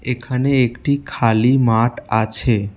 এখানে একটি খালি মাঠ আছে।